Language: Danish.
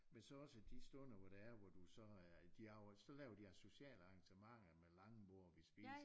Men så også de stunder hvor det er hvor du så øh så laver de sociale arrangementer med langbord og vi spiser